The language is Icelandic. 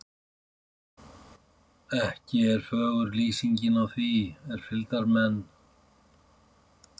Ekki er fögur lýsingin á því er fylgdarmenn